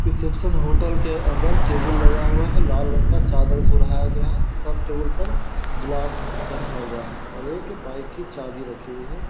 reception hotel के अंदर table लगा हुआ है लाल रंग का चादर से ओढ़ाया गया है सब टेबुल पर ग्लास रखा हुआ है और एक बाइक की चाभी रखी हुई है|